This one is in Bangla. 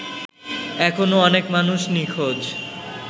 এখনো অনেক মানুষ নিঁখোজ